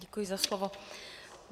Děkuji za slovo.